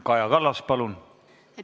Kaja Kallas, palun!